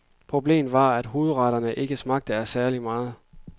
Problemet var, at hovedretterne ikke smagte af særlig meget.